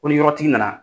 Ko ni yɔrɔtigi nana